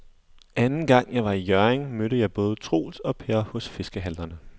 Anden gang jeg var i Hjørring, mødte jeg både Troels og Per hos fiskehandlerne.